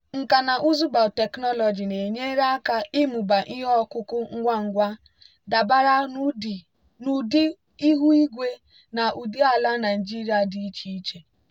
nkà na ụzụ biotechnology na-enyere aka ịmụba ihe ọkụkụ ngwa ngwa dabara n'ụdị ihu igwe na ụdị ala nigeria dị iche iche.